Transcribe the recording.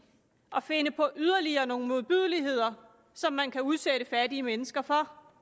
at finde på yderligere nogle modbydeligheder som man kan udsætte fattige mennesker for